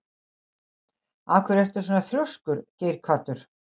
Af hverju ertu svona þrjóskur, Geirhvatur?